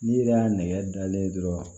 N'i yɛrɛ y'a nɛgɛ dalen ye dɔrɔn